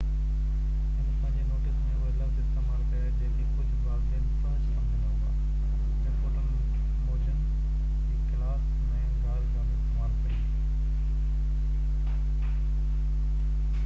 هن پنهنجي نوٽس ۾ اهي لفظ استعمال ڪيا جيڪي ڪجهه والدين فحش سمجهندا هئا رپورٽن موجن هي ڪلاس ۾ گار گند استعمال ڪئي